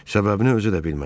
Səbəbini özü də bilmədi.